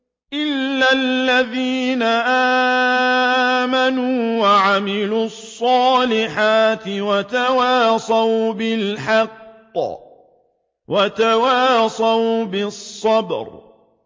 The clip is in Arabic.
إِلَّا الَّذِينَ آمَنُوا وَعَمِلُوا الصَّالِحَاتِ وَتَوَاصَوْا بِالْحَقِّ وَتَوَاصَوْا بِالصَّبْرِ